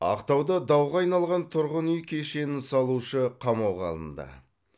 ақтауда дауға айналған тұрғын үй кешенін салушы қамауға алынды